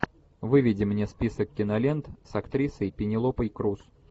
выведи мне список кинолент с актрисой пенелопой крус